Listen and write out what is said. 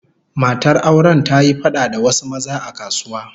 Matar auren ta yi fada da wasu maza a kasuwa